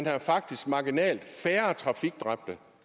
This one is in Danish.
er faktisk marginalt færre trafikdræbte